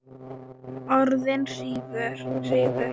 Orðin hrifu.